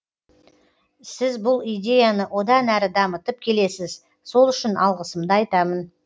сіз бұл идеяны одан әрі дамытып келесіз сол үшін алғысымды айтамын